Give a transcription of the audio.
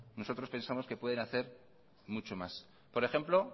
nosotros pensamos que pueden hacer mucho más por ejemplo